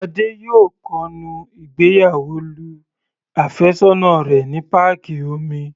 Adé yóò kọnu ìgbéyàwó lu àfẹ́sọ́nà rẹ̀ ní páàkì omi.